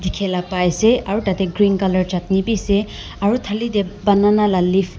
pai ase aru tate green colour chutney bi ase aru thali te banana la leaf .